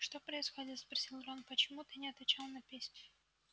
что происходит спросил рон почему ты не отвечал на письма